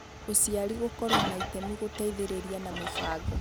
Ũciari Gũkorũo na itemi Gũteithĩrĩria na Mĩbango